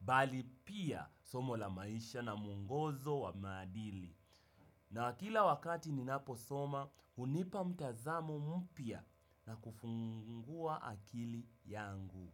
bali pia somo la maisha na mungozo wa maadili. Na kila wakati ninapo soma hunipa mtazamo mpya na kufungua akili yangu.